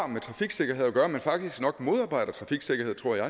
med trafiksikkerhed at gøre men vil faktisk modarbejde trafiksikkerheden tror jeg